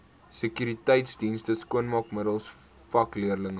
sekuriteitsdienste skoonmaakmiddels vakleerlingraad